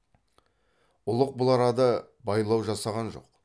ұлық бұл арада байлау жасаған жоқ